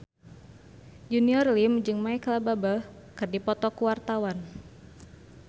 Junior Liem jeung Micheal Bubble keur dipoto ku wartawan